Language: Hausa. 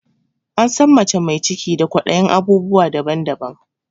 An san mace mai ciki da kwaɗayin abubuwa daban daban